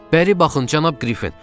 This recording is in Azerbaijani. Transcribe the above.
Bəri baxın, cənab Qriffin!